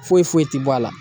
Foyi foyi ti bɔ a la